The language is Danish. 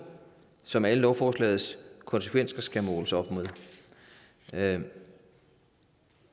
som alle lovforslagets konsekvenser skal måles op med